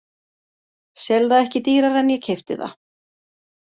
Sel það ekki dýrara en ég keypti það.